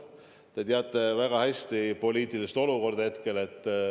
Te teate väga hästi hetke poliitilist olukorda.